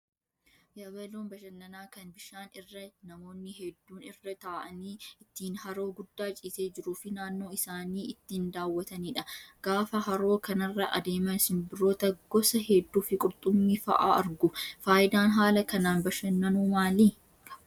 Yabaloon bashannanaa kan bishaan irra namoonni hedduun irra taa'anii ittiin haroo guddaa ciisee jiruu fi naannoo isaanii ittiin daawwatanidha. Gaafa haroo kanarra adeeman simbirroota gosa hedduu fi qurxummii fa'aa argu. Fayidaan haala kanaan bashannanuu maali?